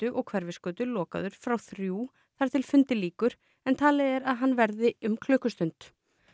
og Hverfisgötu lokaður frá þrjú þar til fundi lýkur en talið er að hann verði um klukkustund